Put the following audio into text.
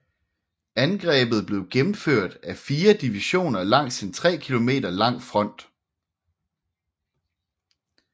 Angrebet blev gennemført af fire divisioner langs en tre km lang front